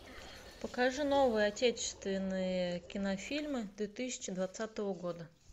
покажи новые отечественные кинофильмы две тысячи двадцатого года